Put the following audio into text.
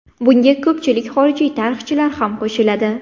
Bunga ko‘pchilik xorijiy tarixchilar ham qo‘shiladi.